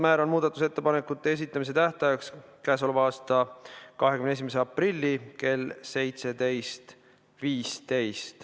Määran muudatusettepanekute esitamise tähtajaks k.a 21. aprilli kell 17.15.